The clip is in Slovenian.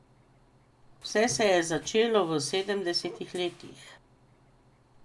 Vse se je začelo v sedemdesetih letih.